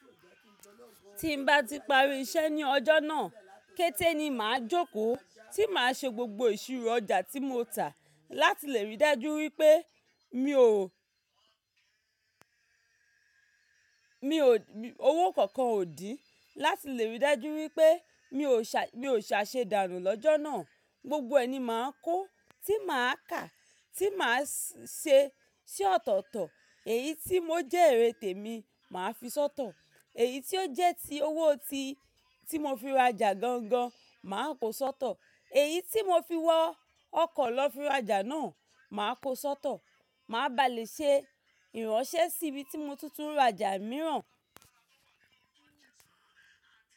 Tí n bá ti parí iṣẹ́ ní ọjọ́ náà, kété ni màá jókòó tí màá ṣe gbogbo ìṣirò ọjà tí mo tà láti lè rí dájú wípé mi ò, mi ò, owó kánkan ò dín. Láti lè rí dájú wípé mi ò ṣà, mi ò ṣà ṣe dànù lọ́jọ́ náà. Gbogbo ẹni máa ń kó tí màá kà tí màá ṣe sí ọ̀tọ̀ọ̀tọ̀. Èyí tí mo jẹ́ èrè tèmí, màá fi sọ́tọ̀. Èyí tí ó jẹ́ ti owó ti, tí mo fi rajà gangan, màá kó sọ́tọ̀. Èyí tí mo fi wọ ọkọ̀ lọ fi ra ọjà náà, màá kó sọ́tọ̀. Màá ba lè ṣe ìránṣẹ́ sí ibi tí mọ tuntun ń ra ọjà mìíràn.